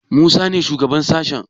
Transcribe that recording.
Musa ne shugaban sashen?